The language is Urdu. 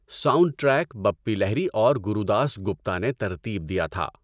ساؤنڈ ٹریک بپی لہری اور گورو داس گپتا نے ترتیب دیا تھا۔